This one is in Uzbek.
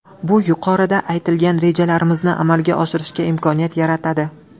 Bu yuqorida aytilgan rejalarimizni amalga oshirishga imkoniyat yaratadi.